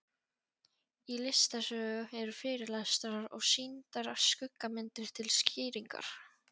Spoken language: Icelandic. Í listasögu eru fyrirlestrar og sýndar skuggamyndir til skýringar.